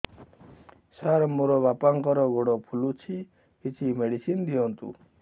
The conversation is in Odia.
ସାର ମୋର ବାପାଙ୍କର ଗୋଡ ଫୁଲୁଛି କିଛି ମେଡିସିନ ଦିଅନ୍ତୁ